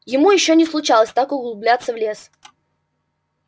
ему ещё не случалось так углубляться в лес